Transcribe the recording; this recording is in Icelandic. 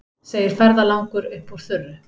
segir ferðalangur upp úr þurru.